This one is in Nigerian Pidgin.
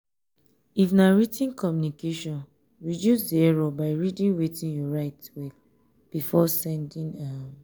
if na writ ten communication reduce di error by reading wetin you write well before sending um